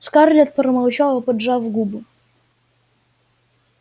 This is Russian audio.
скарлетт промолчала поджав губы